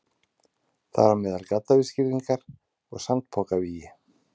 Þar á meðal gaddavírsgirðingar og sandpokavígi.